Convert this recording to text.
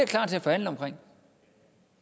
klar til at forhandle om